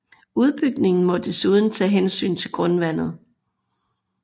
Udbygningen må esuden tage hensyn til grundvandet